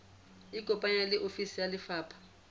ikopanye le ofisi ya lefapha